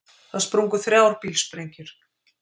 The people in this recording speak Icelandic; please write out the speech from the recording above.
Það sprungu þrjár bílsprengjur